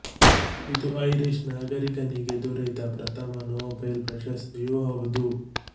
ಇದು ಐರಿಷ್ ನಾಗರಿಕನಿಗೆ ದೊರೆತ ಪ್ರಥಮ ನೋಬೆಲ್ ಪ್ರಶಸ್ತಿಯೂ ಹೌದು